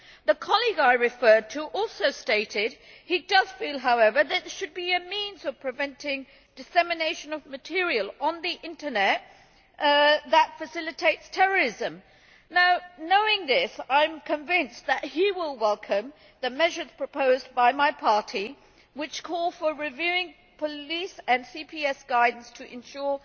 The colleague I referred to also stated that he does feel, however, that there should be a means of preventing dissemination of material on the internet which facilitates terrorism. Now knowing this, I am convinced that he will welcome the measures proposed by my party which call for reviewing police and CPS guidance to ensure